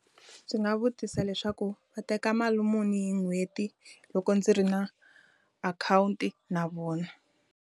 Ndzi nga vutisa leswaku va teka mali muni hi n'hweti loko ndzi ri na akhawunti na vona.